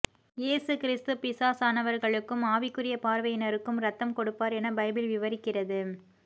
இயேசு கிறிஸ்து பிசாசானவர்களுக்கும் ஆவிக்குரிய பார்வையினருக்கும் இரத்தம் கொடுப்பார் என பைபிள் விவரிக்கிறது